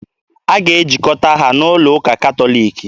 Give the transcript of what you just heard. A ga-ejikọta ha n'ụlọ ụka Katọliki.